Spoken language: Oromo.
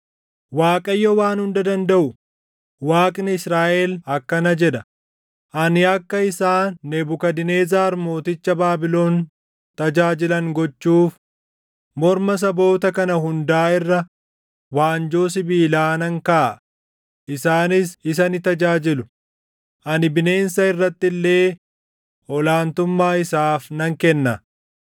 Waaqayyo Waan Hunda Dandaʼu, Waaqni Israaʼel akkana jedha: Ani akka isaan Nebukadnezar mooticha Baabilon tajaajilan gochuuf morma saboota kana hundaa irra waanjoo sibiilaa nan kaʼaa; isaanis isa ni tajaajilu. Ani bineensa irratti illee ol aantummaa isaaf nan kenna.’ ”